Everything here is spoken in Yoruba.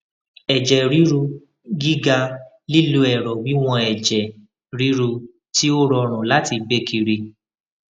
ẹjẹ riru giga lilo ẹrọ wiwọn ẹjẹ riru ti o rọrun lati gbe kiri